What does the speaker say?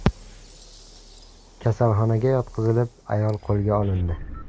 kasalxonaga yotqizilib, ayol qo‘lga olindi.